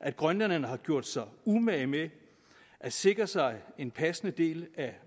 at grønlænderne har gjort sig umage med at sikre sig en passende del af